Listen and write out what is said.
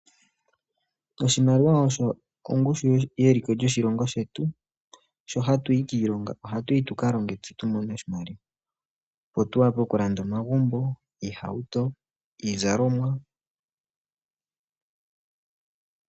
Oshimaliwa osho ongushu yeliko lyoshilongo shetu. Sho hatu yi kiilonga ohatu yi tu ka longe tse tu mone oshimaliwa opo tu wape okulanda omagumbo, iihauto niizalomwa.